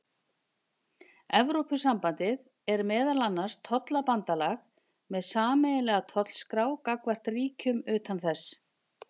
Evrópusambandið er meðal annars tollabandalag með sameiginlega tollskrá gagnvart ríkjum utan þess.